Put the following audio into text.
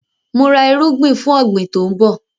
Mò ra erúgbin fún ọ̀gbín tòun bọ̀